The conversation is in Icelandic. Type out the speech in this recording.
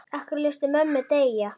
Af hverju léstu mömmu deyja?